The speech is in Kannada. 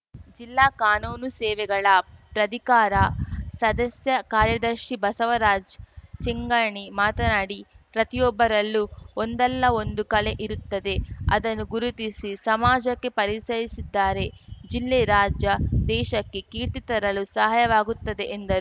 ಜಿಲ್ಲಾ ಕಾನೂನು ಸೇವೆಗಳ ಪ್ರಧಿಕಾರ ಸದಸ್ಯ ಕಾರ್ಯದರ್ಶಿ ಬಸವರಾಜ್ ಚಿಂಗಾಣಿ ಮಾತನಾಡಿ ಪ್ರತಿಯೊಬ್ಬರಲ್ಲೂ ಒಂದಲ್ಲ ಒಂದು ಕಲೆ ಇರುತ್ತದೇ ಅದನ್ನು ಗುರುತಿಸಿ ಸಮಾಜಕ್ಕೆ ಪರಿಚಯಿಸಿದ್ದಾರೆ ಜಿಲ್ಲೆ ರಾಜ್ಯ ದೇಶಕ್ಕೆ ಕೀರ್ತಿ ತರಲು ಸಹಾಯವಾಗುತ್ತದೆ ಎಂದರು